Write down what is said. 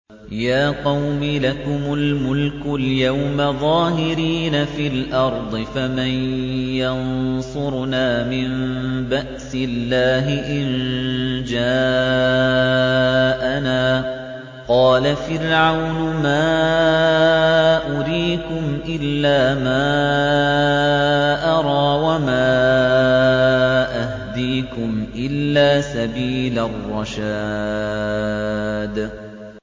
يَا قَوْمِ لَكُمُ الْمُلْكُ الْيَوْمَ ظَاهِرِينَ فِي الْأَرْضِ فَمَن يَنصُرُنَا مِن بَأْسِ اللَّهِ إِن جَاءَنَا ۚ قَالَ فِرْعَوْنُ مَا أُرِيكُمْ إِلَّا مَا أَرَىٰ وَمَا أَهْدِيكُمْ إِلَّا سَبِيلَ الرَّشَادِ